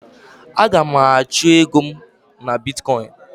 Aga m achọ ego m na Bitkọin.